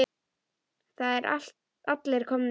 Það eru allir komnir út.